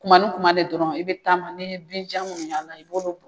Kuma ni kuma de dɔrɔn i bɛ taama n'i ye binjan minnu y'a la i b'olu bon